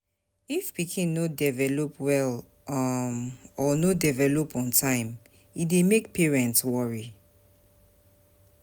If pikin no develop well um or no develop on time e dey make parent worry